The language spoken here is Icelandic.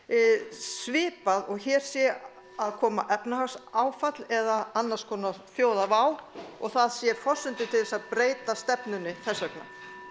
svipað og hér sé að koma efnahagsáfall eða annars konar þjóðarvá og það séu forsendur til að breyta stefnunni þess vegna